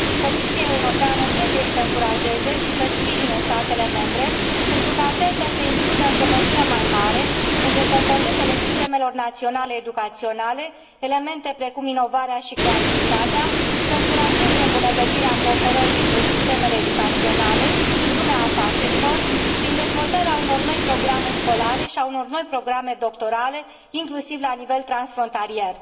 Comisia Europeană trebuie să încurajeze și să sprijine statele membre, pentru ca acestea să includă într o măsură mai mare, între componentele sistemelor naționale educaționale, elemente precum inovarea și creativitatea, să încurajeze îmbunătățirea cooperării între sistemele educaționale și lumea afacerilor, prin dezvoltarea unor noi programe școlare și a unor noi programe doctorale, inclusiv la nivel transfrontalier.